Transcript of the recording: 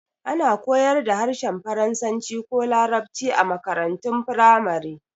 Ana koyar da harshen faransanci ko larabci a makarantun firamare